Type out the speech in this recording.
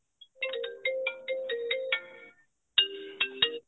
music